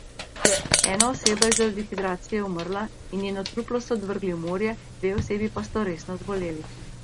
Ena oseba je zaradi dehidracije umrla in njeno truplo so odvrgli v morje, dve osebi pa sta resno zboleli.